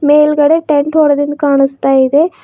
ಮೇಲ್ಗಡೆ ಟೆಂಟ್ ಹೊಡ್ದಂಗ್ ಕಾಣಿಸ್ತಾ ಇದೆ.